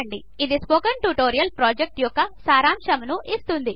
000835 000834 అది spoken tutorial project యొక్క సారాంశమును ఇస్తుంది